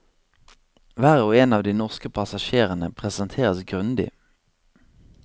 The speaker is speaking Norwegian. Hver og en av de norske passasjerene presenteres grundig.